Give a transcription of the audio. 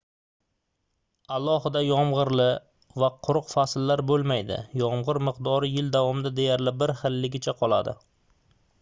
alohida yomgʻirli va quruq fasllar boʻlmaydi yomgʻir miqdori yil davomida deyarli bir xilligicha qoladi